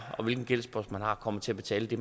og hvilken gældspost man har kommer til at betale det